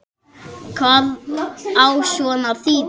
Hvað á svona að þýða